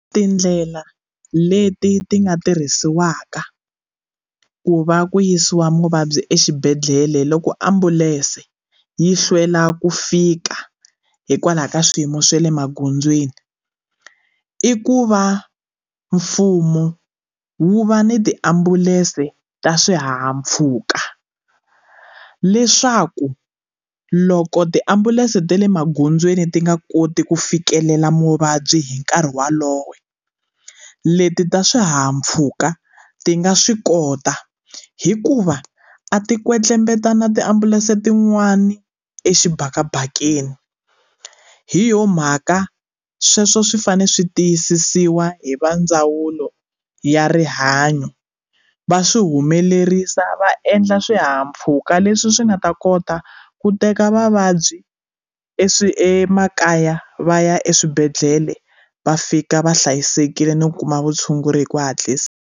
Tindlela leti ti nga tirhisiwaka ku va ku yisiwa muvabyi exibedhlele loko ambulense yi hlwela ku fika hikwalaho ka swiyimo swa le magondzweni i ku va mfumo wu va ni tiambulense ta swihahampfhuka leswaku loko tiambulense ta le magondzweni ti nga koti ku fikelela muvabyi hi nkarhi walowo leti ta swihahampfhuka ti nga swi kota hikuva a ti kwetlembetane tiambulense tin'wani exibedele mabaketi hi yona mhaka sweswo swi fanele swi tiyisisiwa hi va ndzawulo ya rihanyo va swi humelerisa va endla swihahampfhuka leswi swi nga ta kota ku teka vavabyi e swi emakaya va ya eswibedhlele va fika va hlayisekile no kuma vutshunguri hi ku hatlisa.